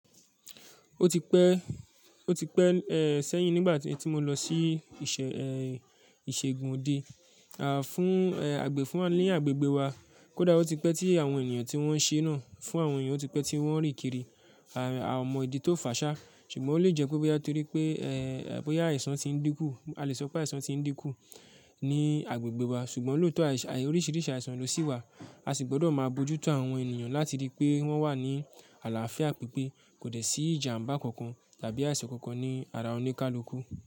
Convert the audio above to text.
Ó ti pẹ́, ó ti pẹ́, eh, sẹ́yìn nígbà tí mo lọ sí ìṣe, eh, ìṣègùn òde, à, fún, eh, àgbẹ̀ fún a ni agbègbè wa. Kódà ó ti pẹ́ tí àwọn èniyàn tí wọ́n ń ṣe náà fún àwọn èeyàn ó ti pẹ́ tí wọ́n ri kiri, à, à o mọ ìdí tó fà ṣá. Ṣùgbọ́n ó lè jẹ́ pé bóyá torí pé, eh, bóyá àìsàn ti ń dínkù. A lè sọ pé àìsàn ti ń dínkù ní agbègbè wa. Ṣùgbọ́n lóòtọ́ àìṣ--ai, oríṣìríṣì àìsàn lọ sí wa. A sì gbọ́dọ̀ máa bojútó àwọn ènìyàn láti rí pé wọ́n wà ní àlàáfíà pípé. Kò dẹ̀ sí ìjàmbá kankan tàbí àìsàn kankan ní ara oníkáluku.